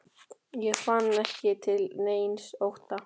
Hann fann ekki til neins ótta.